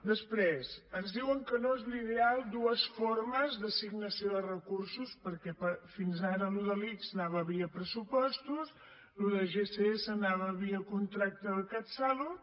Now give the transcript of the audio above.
després ens diuen que no és l’ideal dues formes d’assignació de recursos perquè fins ara allò de l’ics anava via pressupostos allò de gss anava via contracte del catsalut